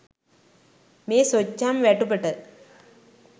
මේ සොච්චම් වැටුපට